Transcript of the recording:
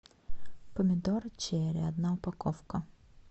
помидоры черри одна упаковка